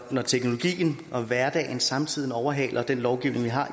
når teknologien og hverdagen samtidig overhaler den lovgivning vi har